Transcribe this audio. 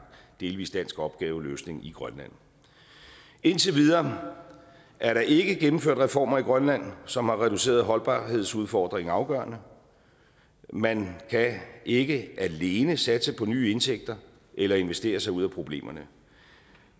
delvis dansk opgaveløsning i grønland indtil videre er der ikke gennemført reformer i grønland som har reduceret holdbarhedsudfordringen afgørende man kan ikke alene satse på nye indtægter eller investere sig ud af problemerne